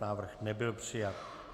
Návrh nebyl přijat.